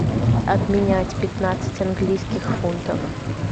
обменять пятнадцать английских фунтов